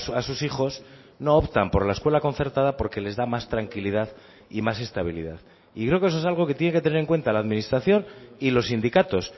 a sus hijos no optan por la escuela concertada porque les da más tranquilidad y más estabilidad y creo que eso es algo que tiene que tener en cuenta la administración y los sindicatos